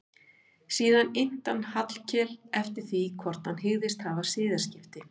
Síðan innti hann Hallkel eftir því hvort hann hygðist hafa siðaskipti.